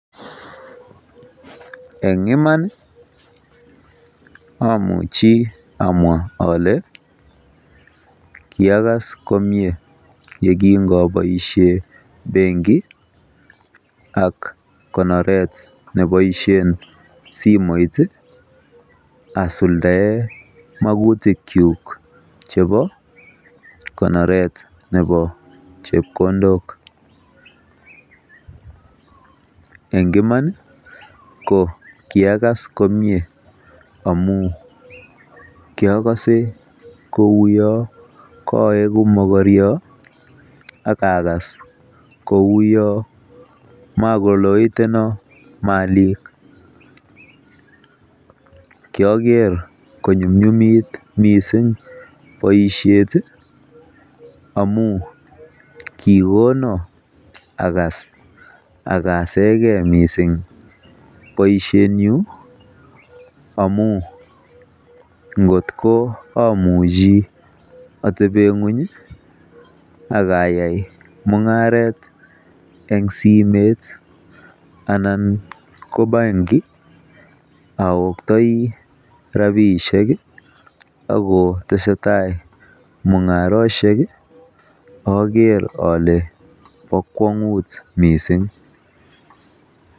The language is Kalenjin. En iman amuchi amwa ole kiiaga komie ye kingoboisie benki ak konoret neboisie simoit asuldaen mautikyuk chebo konoret nebo chepkondok. En iman ko kiagas komie amun kiagose kouyo koegu mokoryo ak akas kou yo magoloetunon malik kiogere konyumnyumit miisng boisiet amun kigonon agas agasenge mising boisiienyu amun kotko amuchi ateben ng'weny ak ayai mung'aret en simet anan ko benki aoktoi rabishek ak kotesetai mung'arosiek ager ole bo kwong'ut mising.